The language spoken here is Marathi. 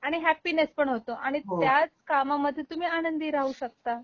आणि हॅप्पीनेस पण होतो आणि आणि त्याच कामामध्ये तुम्ही आनंदी राहू शकता.